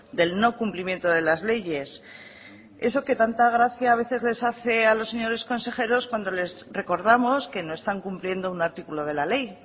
del no cumplimiento de las leyes eso que tanta gracia a veces les hace a los señores consejeros cuando les recordamos que no están cumpliendo un artículo de la ley